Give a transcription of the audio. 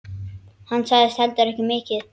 Hann sagði heldur ekki mikið.